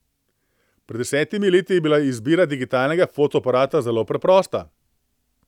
Pred desetimi leti je bila izbira digitalnega fotoaparata zelo preprosta.